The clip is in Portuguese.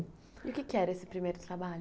E o que que era esse primeiro trabalho?